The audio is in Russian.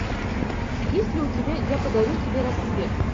есть ли у тебя я подарю тебе рассвет